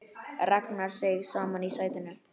Ragnar seig saman í sætinu.